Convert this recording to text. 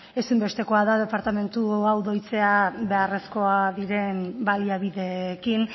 ezinbestekoa da departamentu hau doitzea beharrezkoak diren baliabideekin